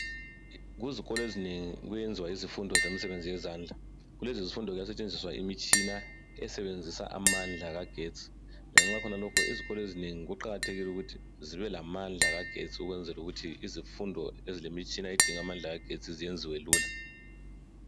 Kuzikolo ezinengi kuyenziwa izifundo zomsebenzni wezandla. Kulezi zifundo kuyasetshenziswa imitshina esebenzisa amandla kagetsi. Lanxa khonalokho izikolo ezinengi kuqakathekile ukuthi zibe lamandla kagetsi ukwenzela ukuthi izifundo ezilemitshina endinga amandla kagetsi zenziwe lula.